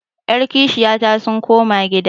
Yaran kishiyana sun koma gida.